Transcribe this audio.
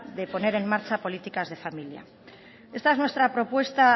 de poner en marcha políticas de familia esta es nuestra propuesta